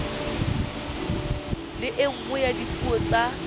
le nngwe ya dipuo tsa